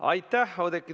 Aitäh, Oudekki!